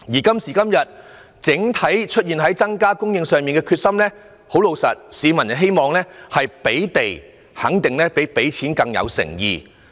今時今日，關於政府對於整體房屋供應的決心，老實說，市民會認為提供土地較"派錢"更有誠意。